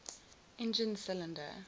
engine cylinder